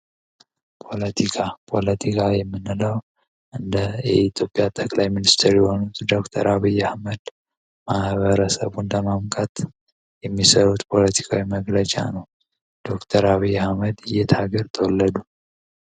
ፖለቲካ እንደ ኢትዮጵያ ጠቅላይ ሚኒስትር የሆኑ ዶክተር አብይ አህመድ የሚሰሩት ፖለቲካዊ መግለጫ ነው ዶክተር አብይ አህመድ እየታገል ተወለዱ